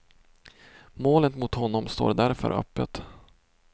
Målet mot honom står därför öppet.